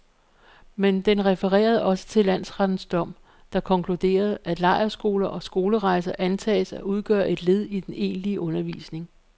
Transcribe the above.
Men den refererede også til landsrettens dom, der konkluderede, at lejrskoler og skolerejser antages at udgøre et led i den egentlige undervisning.